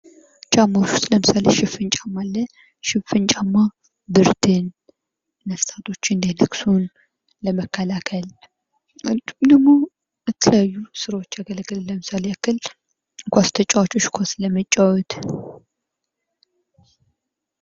ጫማ ውስጥ ለምሳሌ ሽፍን ጫማ አለ:: ሽፍን ጫማ ብርድን ነፍሳቶች እንዳይነክሱን ለመከላከል እንዲሁም ደግሞ ለተለያዩ ስራዎች ያገለግላል ለምሳሌ ያክል ኳስ ተጫዋቾች ኳስ ለመጫወት ::